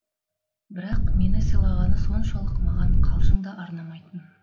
бірақ мені сыйлағаны соншалық маған қалжың да арнамайтын